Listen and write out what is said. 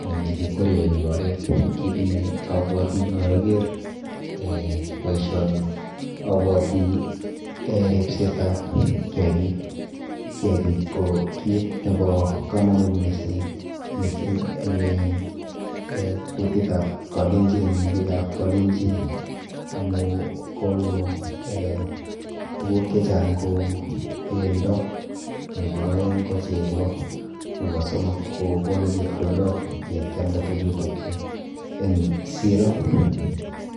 anan chekikwerie eng oret. Kit neabwoti yeaker eh boisioni abwoti eh ripsetap kiakik. Kiakik ko kit nepo komonut mising, mising eng en eh kutitap Kalenjin anan biikap Kalenjin amu konu eh tuguk chechang kou bendo nepo aeng ko chego nepo somok kokonu chepkondok yekialda tukchutochu eng siro.